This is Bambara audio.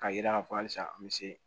K'a yira k'a fɔ halisa an be se